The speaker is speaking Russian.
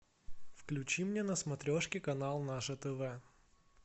включи мне на смотрешке канал наше тв